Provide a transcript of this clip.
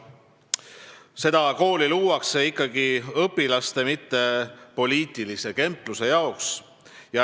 Seda kooli luuakse ikkagi õpilaste, mitte poliitilise kempluse jaoks.